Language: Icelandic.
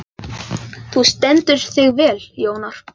Þú stendur þig vel, Jónar!